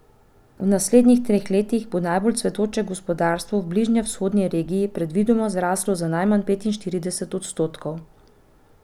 V naslednjih treh letih bo najbolj cvetoče gospodarstvo v bližnjevzhodni regiji predvidoma zraslo za najmanj petinštirideset odstotkov.